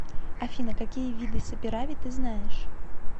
афина какие виды саперави ты знаешь